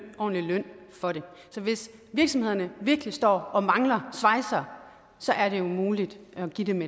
en ordentlig løn for det så hvis virksomhederne virkelig står og mangler svejsere så er det jo muligt at give dem